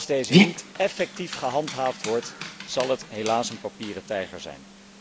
Als deze niet effectief gehandhaafd wordt, zal zij helaas een papieren tijger zijn.